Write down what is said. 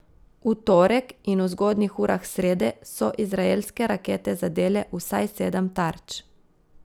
V torek in v zgodnjih urah srede so izraelske rakete zadele vsaj sedem tarč.